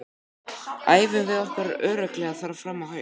Æfum við ekki örugglega þar fram á haust?